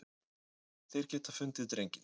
Þeir geta fundið drenginn.